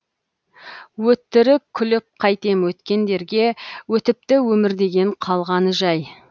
өтірік күліп қайтем өткендерге өтіпті өмір деген қалғаны жай